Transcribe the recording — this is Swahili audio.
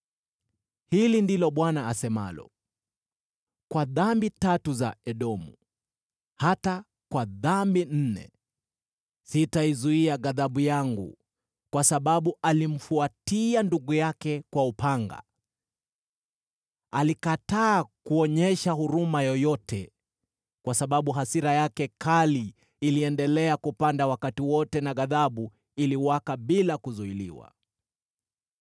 Hili ndilo Bwana asemalo: “Kwa dhambi tatu za Edomu, hata kwa dhambi nne, sitaizuia ghadhabu yangu. Kwa sababu alimfuatia ndugu yake kwa upanga, alikataa kuonyesha huruma yoyote, kwa sababu hasira yake kali iliendelea kupanda wakati wote na ghadhabu iliwaka bila kuzuiliwa.